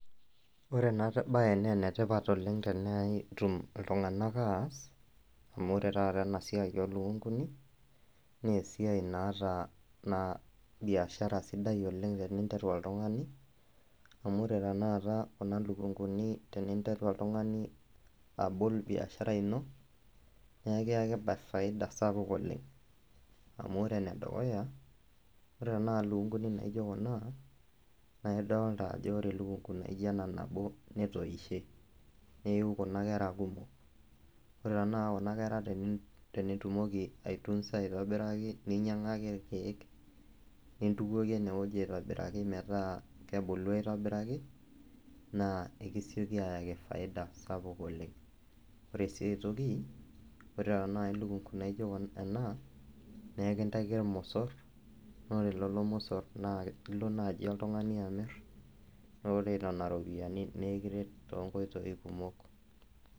Ore enabae nenetipat oleng tenetum iltung'anak aas, amu ore taata enasiai olukunkuni, nesiai naata biashara sidai oleng teninteru oltung'ani, amu ore tanakata kuna lukunkuni teninteru oltung'ani abol biashara ino, nekiaki faida sapuk oleng. Amu ore enedukuya, ore tanakata lukunkuni naijo kuna, naa idolta ajo ore elukunku naija ena nabo netoishe. Neyu kuna kera kumok. Ore tanakata kuna kera tenitumoki ai tunza aitobiraki ninyang'aki irkeek, nintukoki enewueji aitobiraki metaa kebulu aitobiraki, naa ekisioki ayaki faida sapuk oleng. Ore si ai toki, ore tanai elukunku naijo ena, nekintaiki ormosor, nore lelo mosor na ilo nai oltung'ani amir, nore nena ropiyiani nikiret tonkoitoii kumok.